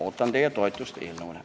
Ootan teie toetust eelnõule.